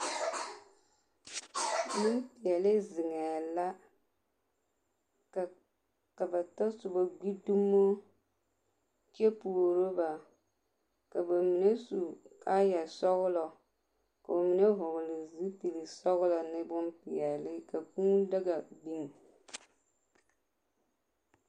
Nenpeɛle zeŋɛ la, ka ba tasoba gbi dumo kyɛ puoro ba ka ba mine su kaayɛsɔglɔɔ ne bonpeɛle ka kʋʋ daga biŋ.